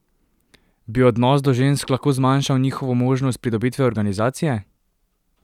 Bi odnos do žensk lahko zmanjšal njihovo možnost pridobitve organizacije?